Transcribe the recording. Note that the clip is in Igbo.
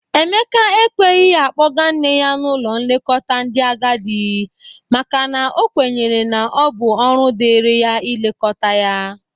Emeka ekweghi akpọga nne ya n'ụlọ nlekọta ndị agadị makana o kwenyere na ọ bụ ọrụ dịrị ya ilekọta ya